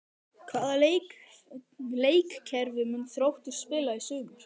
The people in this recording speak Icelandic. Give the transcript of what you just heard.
Hvaða leikkerfi mun Þróttur spila í sumar?